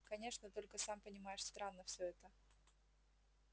конечно только сам понимаешь странно все это